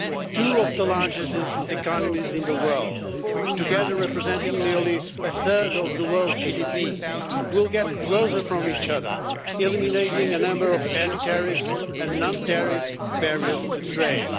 Two of the largest economies in the world, together representing nearly a third of the world's GDP, will move closer to each other, eliminating a number of heavy tariffs as well as non-tariff barriers to trade.